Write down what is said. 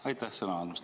Aitäh sõna andmast!